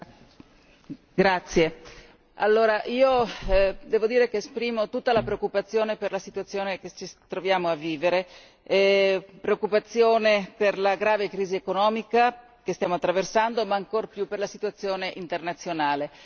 Signor Presidente, onorevoli colleghi, devo dire che esprimo tutta la preoccupazione per la situazione che ci troviamo a vivere, preoccupazione per la grave crisi economica che stiamo attraversando, ma ancor di più per la situazione internazionale.